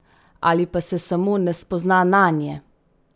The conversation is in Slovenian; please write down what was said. Ali pa se samo ne spozna nanje?